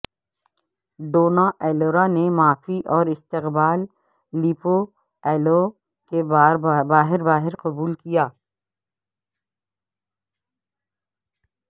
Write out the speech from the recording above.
Donna Elvira نے معافی اور استقبال لیپورایلو کے باہر باہر قبول کیا